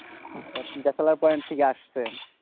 bachelor point থেকে আসছে,